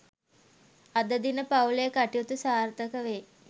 අද දින පවු‍ලේ කටයුතු සාර්ථක වේ